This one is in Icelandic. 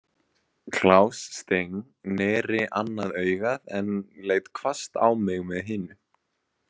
Klaus Steng neri annað augað en leit hvasst á mig með hinu.